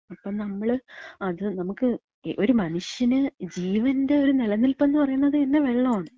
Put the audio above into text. ഇപ്പം നമ്മള് അത്, നമ്ക്ക് ഒരു മനുഷ്യന് ജീവന്‍റെ ഒര് നെലനിൽപ്പെന്ന് പറയണതെന്നെ വെള്ളാണ്.